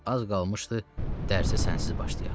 Az qalmışdı dərsə sənsiz başlayaq.